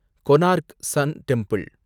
Konark sun temple